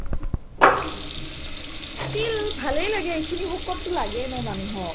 কিনো ভালেই লাগে এইখিনি শকতো লাগেই ন মানুহক